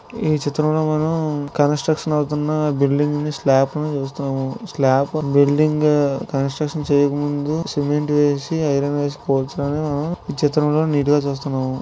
ఈ చిత్రంలో మనం కన్స్ట్రక్షన్ అవుతున్న బిల్డింగ్ స్లాపం చేస్తూ స్లాపం బిల్డింగ్ కన్స్ట్రక్షన్ చేయకముందు సిమెంట్--